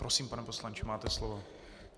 Prosím, pane poslanče, máte slovo.